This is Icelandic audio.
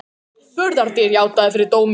Burðardýr játaði fyrir dómi